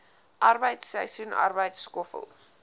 arbeid seisoensarbeid skoffel